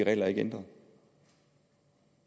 er ændret